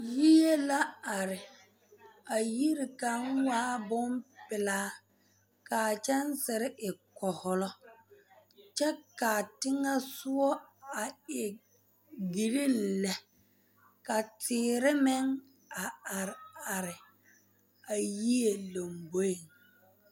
Yie la are a yiri kaŋ waa bompelaa ka a kyɛnsere e kohɔlɔ kyɛ ka a teŋɛsɔgɔ a e gerene lɛ ka teere meŋ a are are a yie lomboeŋ.